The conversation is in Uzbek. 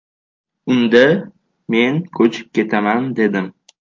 Unda men ko‘chib ketaman, dedim.